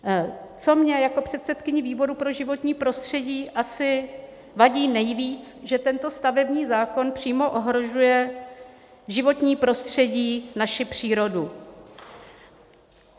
Co mně jako předsedkyni výboru pro životní prostředí vadí asi nejvíc, že tento stavební zákon přímo ohrožuje životní prostředí, naši přírodu.